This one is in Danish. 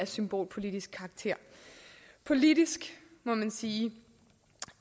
symbolpolitisk karakter politisk må man sige